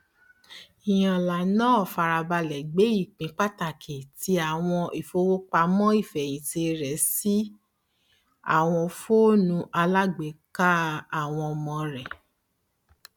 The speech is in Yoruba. ìyánlá náà fárabalẹ gbé ipin pàtàkì ti àwọn ìfowopamọ ìfẹhìntì rẹ sí àwọn fóònù alágbèéká àwọn ọmọ rẹ